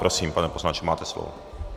Prosím, pane poslanče, máte slovo.